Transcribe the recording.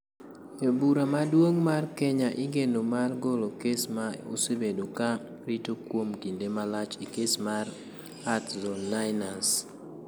Od Bura Maduong ' mar Kenya igeno mar golo kes ma osebedo ka rito kuom kinde malach e kes mar @Zone9ners.